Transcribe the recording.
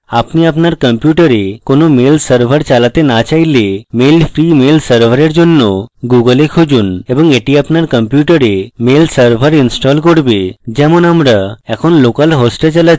আপনি আপনার কম্পিউটারে কোনো mail server চালাতে না চাইলে mail free mail server জন্য google a খুঁজুন এবং এটি আপনার কম্পিউটারে mail server install করবে যেমন আমরা এখন local host চালাছি